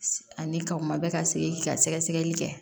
Ani ka o ma bɛ ka se k'i ka sɛgɛsɛgɛli kɛ